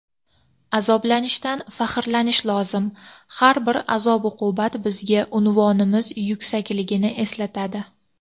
Azoblanishdan faxrlanish lozim — har bir azob-uqubat bizga unvonimiz yuksakligini eslatadi.